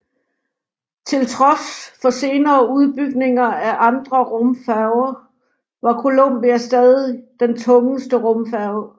Til trods for senere udbygninger af andre rumfærger var Columbia stadig den tungeste rumfærge